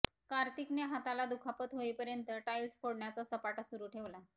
कार्तिकने हाताला दुखापत होईपर्यंत टाईल्स फोडण्याचा सपाटा सुरू ठेवला